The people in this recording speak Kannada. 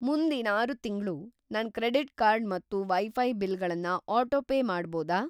ಮುಂದಿನ್‌ ಆರು ತಿಂಗ್ಳು ನನ್‌ ಕ್ರೆಡಿಟ್‌ ಕಾರ್ಡ್ ಮತ್ತು ವೈಫೈ ಬಿಲ್‌ಗಳನ್ನ ಆಟೋಪೇ ಮಾಡ್ಬೋದಾ?